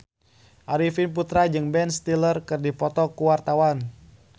Arifin Putra jeung Ben Stiller keur dipoto ku wartawan